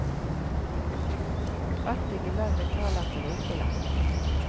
Fattige land betaler til rike land.